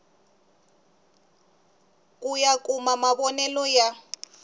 ku ya kuma mavonele ya